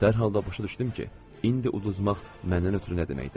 Dərhal da başa düşdüm ki, indi uzmaq məndən ötrü nə deməkdir.